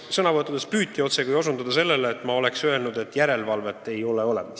Sõnavõttudes püüti osutada sellele, nagu ma oleksin öelnud, et järelevalvet ei ole olemas.